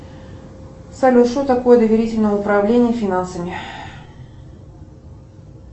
салют что такое доверительное управление финансами